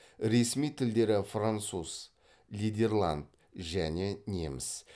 ресми тілдері француз нидерланд және неміс